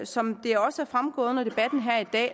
som det også er fremgået under debatten her i dag